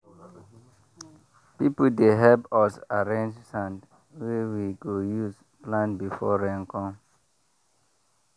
people dey help us arrange sand wey we go use plant before rain come.